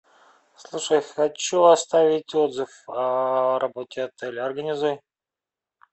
слушай хочу оставить отзыв о работе отеля организуй